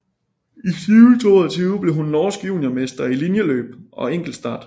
I 2020 blev hun norsk juniormester i linjeløb og enkeltstart